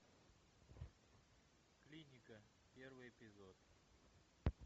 клиника первый эпизод